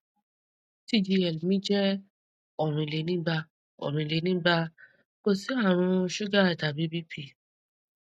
tgl mi jẹ orinlenigba orinlenigba kò sí àrùn sugar tàbí bp